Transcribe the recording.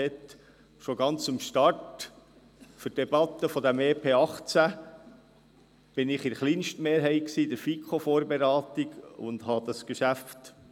Schon ganz zu Beginn der Beratung des EP 2018 befürwortete ich bei der Vorbereitung in der FiKo dieses Geschäft.